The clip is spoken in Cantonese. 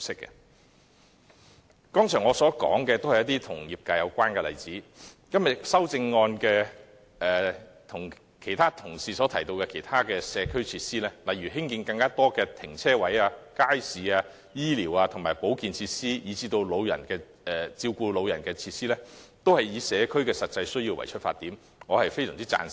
我剛才提及的都是與業界有關的例子，與今天同事提及的其他社區設施，例如興建更多泊車位、街市、醫療、保健以至照顧長者的設施，均以社區的實際需要出發，我非常贊成。